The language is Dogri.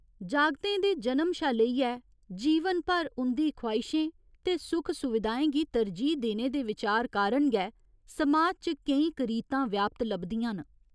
जागतें दे जनम शा लेइयै जीवन भर उं'दी ख्वाहिशें ते सुख सुविधाएं गी तरजीह् देने दे विचार कारण गै समाज च केईं करीतां व्याप्त लभदियां न।